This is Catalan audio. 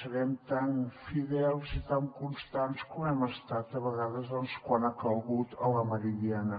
serem tan fidels i tan constants com hem estat a vegades quan ha calgut a la meridiana